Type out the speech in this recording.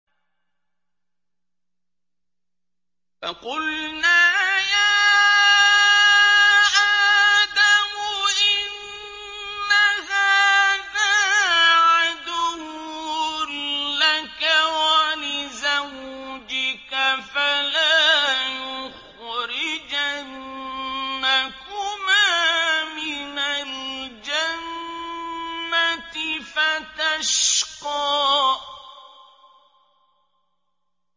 فَقُلْنَا يَا آدَمُ إِنَّ هَٰذَا عَدُوٌّ لَّكَ وَلِزَوْجِكَ فَلَا يُخْرِجَنَّكُمَا مِنَ الْجَنَّةِ فَتَشْقَىٰ